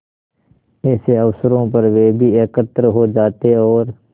ऐसे अवसरों पर वे भी एकत्र हो जाते और